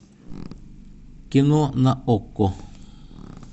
кино на окко